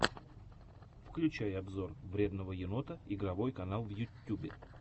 включай обзор вредного енота игровой канал в ютьюбе